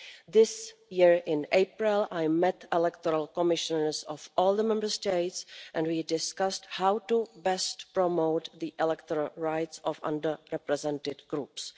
This year, in April, I met the electoral commissioners of all the Member States and we discussed how best to promote the electoral rights of under represented groups.